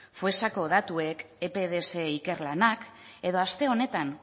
foessako datuek epds ikerlanak edo aste honetan